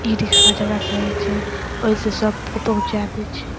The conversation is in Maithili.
ई रिक्सा ज्यादा कहइ छे और इससे सब को पहुचा देइ छे।